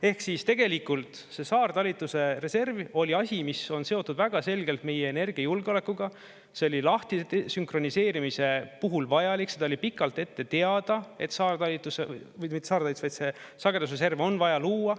Ehk siis tegelikult see saartalitluse reserv oli asi, mis on seotud väga selgelt meie energiajulgeolekuga, see oli lahtisünkroniseerimise puhul vajalik, seda oli pikalt ette teada, et sagedusreserv on vaja luua.